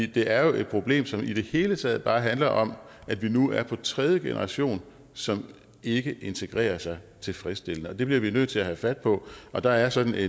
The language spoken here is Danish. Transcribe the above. det er jo et problem som i det hele taget bare handler om at vi nu har den tredje generation som ikke integrerer sig tilfredsstillende det bliver vi nødt til at tage fat på og da er sådan